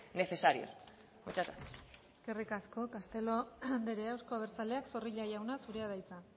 necesarios muchas gracias eskerrik asko castelo andrea euzko abertzaleak zorrilla jauna zurea da hitza